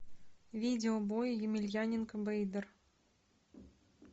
видео бой емельяненко бейдер